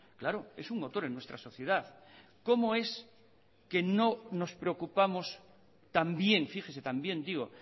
claro es un motor en nuestra sociedad cómo es que no nos preocupamos también fíjese también digo